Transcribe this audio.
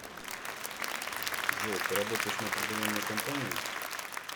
джой ты работаешь на определенную компанию